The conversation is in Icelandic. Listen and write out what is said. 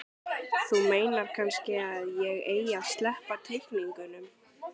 Þú meinar kannski að ég eigi að sleppa teikningunum?